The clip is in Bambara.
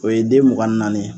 O ye den mugan ni naani ye